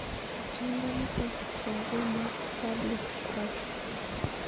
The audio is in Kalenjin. Pichiindo nitok jo konu waddling gait